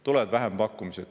Tulevad vähempakkumised.